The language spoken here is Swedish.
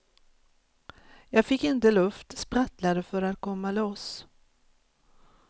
Jag fick inte luft, sprattlade för att komma loss.